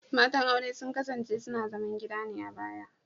Matan aure sun kasance suna zaman gida ne a baya